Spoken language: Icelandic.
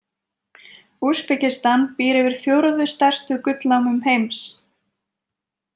Úsbekistan býr yfir fjórðu stærstu gullnámum heims.